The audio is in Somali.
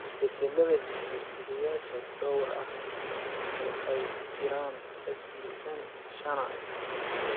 Isbeddellada hidde-sideyaasha dhowr ah, oo ay ku jiraan SCN shanA,